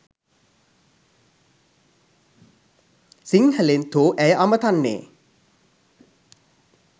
සිංහලෙන් තෝ ඇය අමතන්නේ